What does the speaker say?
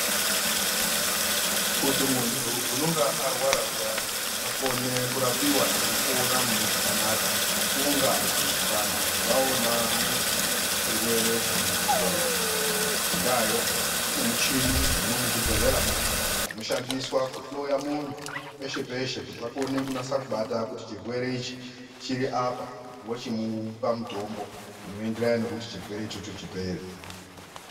Kuti munthu unonga arwara zviyana akone kurapiwa eipora mune zvakanaka kunga vanthu vaona mudzi wechirwere chemuntu uwowo. Ngendaayo kune michini dzirimwo muzvibhedhlera muya dzinoshandiswa kuhloya munthu peshe peshe kuti vakone kunasa kubata kuti chirwere ichi chiri apa vochimupa mutombo inoenderana nekuti chirwere ichocho chipere.